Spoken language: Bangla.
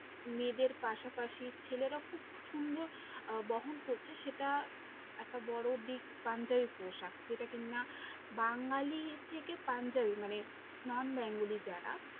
মেয়েদের পাশাপাশি ছেলেরা খুব সুন্দর আহ বহন করছে সেটা একটা বড়ো দিক পাঞ্জাবি পোশাক, যেটা কি না বাঙালী থেকে পাঞ্জাবি মানে Non-bengli যারা